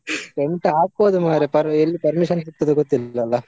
Tent ಹಾಕ್ಬೋದು ಮಾರ್ರೆ ಪರ್~ ಎಲ್ಲಿ permission ಸಿಗ್ತದೆ ಗೊತ್ತಿರೋದಿಲ್ಲ.